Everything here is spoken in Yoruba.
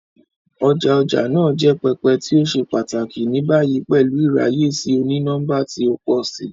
Ọja ọja naa jẹ pẹpẹ ti o ṣe pataki, ni bayi pẹlu iraye si oni-nọmba ti o pọ si.